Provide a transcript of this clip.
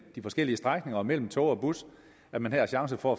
de forskellige strækninger og mellem tog og bus at man har chance for